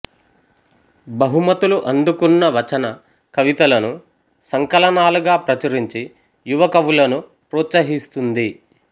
బహుమతులు అందుకున్న వచన కవితలను సంకలనాలుగా ప్రచురించి యువకవులను ప్రోత్సహిస్తోంది